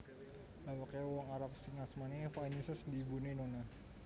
Bapaké wong Arab sing asmané Epifanius déné ibuné Nonna